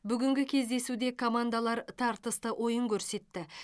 бүгінгі кездесуде командалар тартысты ойын көрсетті